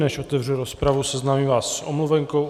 Než otevřu rozpravu, seznámím vás s omluvenkou.